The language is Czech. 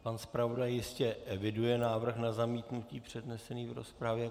Pan zpravodaj jistě eviduje návrh na zamítnutí přednesený v rozpravě.